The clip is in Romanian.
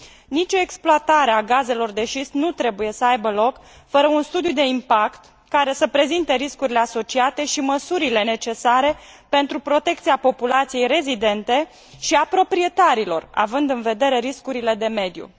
Nicio exploatare a gazelor de șist nu trebuie să aibă loc fără un studiu de impact care să prezinte riscurile asociate și măsurile necesare pentru protecția populației rezidente și a proprietarilor, având în vedere riscurile de mediu.